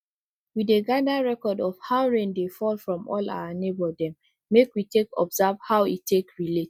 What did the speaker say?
we dey gadir record of how rain dey fall from all our neighbour dem make we take observe how e take relate